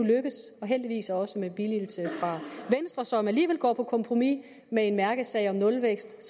lykkedes heldigvis også med billigelse fra venstre som alligevel går på kompromis med en mærkesag om nulvækst